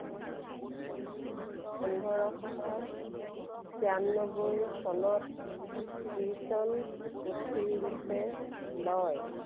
পোন্ধৰশ তিয়ান্নবৈ চনত কীৰ্ত্তন পুথিৰূপে লয়।